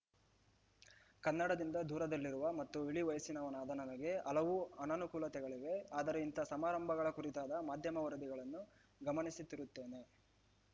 ಕನ್ನಡದಿಂದ ದೂರದಲ್ಲಿರುವ ಮತ್ತು ಇಳಿವಯಸ್ಸಿನವನಾದ ನನಗೆ ಹಲವು ಅನನುಕೂಲತೆಗಳಿವೆ ಆದರೆ ಇಂಥ ಸಮಾರಂಭಗಳ ಕುರಿತಾದ ಮಾಧ್ಯಮ ವರದಿಗಳನ್ನು ಗಮನಿಸುತ್ತಿರುತ್ತೇನೆ